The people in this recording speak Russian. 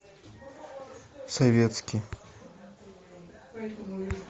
советский